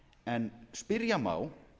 en spyrja má